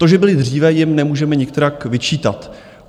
To, že byli dříve, jim nemůžeme nikterak vyčítat.